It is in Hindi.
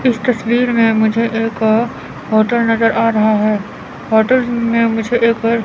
इस तस्वीर में मुझे एक होटल नजर आ रहा है होटल में मुझे एक--